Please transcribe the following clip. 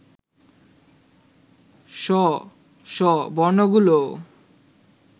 স, ষ বর্ণগুলোও